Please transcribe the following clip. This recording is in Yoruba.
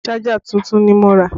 Ṣájà tuntun ni mo rà